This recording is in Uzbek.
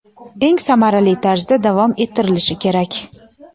eng samarali tarzda davom ettirilishi kerak.